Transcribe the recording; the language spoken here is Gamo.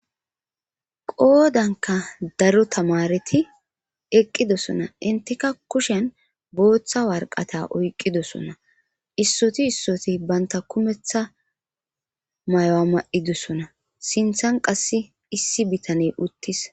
Qoodanka daro tamareti eqqidossona intika kushen booththa warqata oyqqidossonna issoti issoti banta kumeththa mayo'a ma'idosona sinthan qasse issi bitaney uttis.